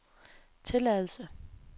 tilladelse